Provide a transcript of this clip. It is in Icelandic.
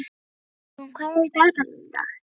Auðrún, hvað er í dagatalinu í dag?